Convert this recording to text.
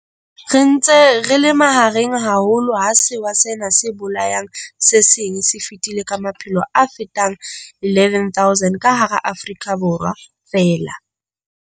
Re ntse re le mahareng haholo a sewa sena se bolayang se seng se fetile ka maphelo a fetang 11 000 ka hara Afrika Borwa feela.